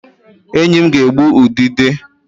Enyi m ga-egbu udide